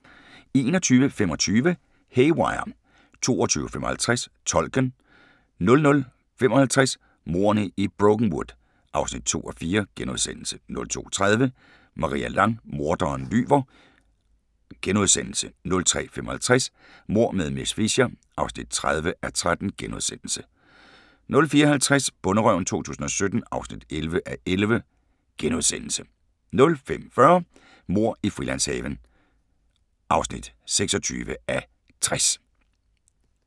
21:25: Haywire 22:55: Tolken 00:55: Mordene i Brokenwood (2:4)* 02:30: Maria Lang: Morderen lyver * 03:55: Mord med miss Fisher (30:13)* 04:50: Bonderøven 2017 (11:11)* 05:40: Mord i Frilandshaven (26:60)